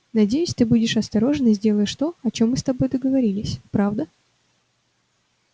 надеюсь ты будешь осторожен и сделаешь то о чём мы с тобой договорились правда